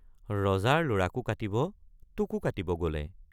ৰজাৰ লৰাকো কাটিব তোকো কাটিব গলে।